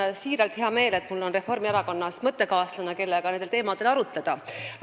Mul on siiralt hea meel, et mul on Reformierakonnas mõttekaaslane, kellega nendel teemadel arutleda.